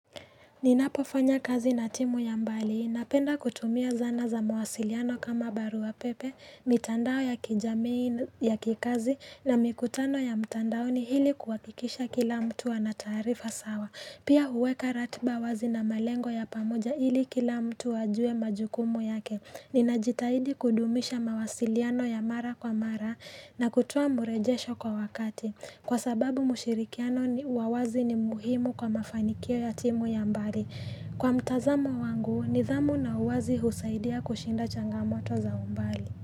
Ninapofanya kazi na timu ya mbali, napenda kutumia zana za mawasiliano kama baruapepe pepe, mitandao ya kijamii ya kikazi na mikutano ya mtandaoni hili kuhakikisha kila mtu ana taarifa sawa. Pia huweka ratba wazi na malengo ya pamoja hili kila mtu ajue majukumu yake. Ninajitahidi kudumisha mawasiliano ya mara kwa mara na kutoa murejesho kwa wakati. Kwa sababu mushirikiano wa wazi ni muhimu kwa mafanikio ya timu ya mbali. Kwa mtazamo wangu, nidhamu na uwazi husaidia kushinda changamoto za umbali.